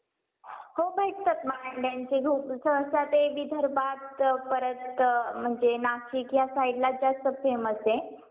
बर